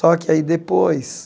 Só que aí depois,